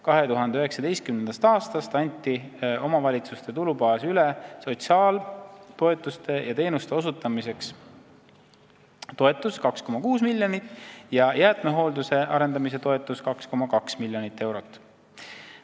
2019. aastast anti omavalitsuste tulubaasi üle sotsiaaltoetuste ja -teenuste osutamiseks toetust 206 miljonit ja jäätmehoolduse arendamise toetust 2,2 miljonit eurot.